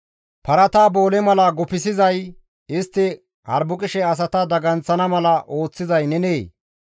Parata boole mala guppizay istti harbuqishe asata daganththana mala ooththizay nenee?